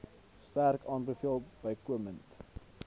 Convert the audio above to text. sterk aanbeveel bykomend